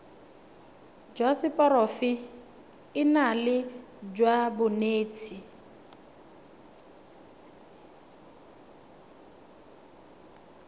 jwa seporofe enale jwa banetshi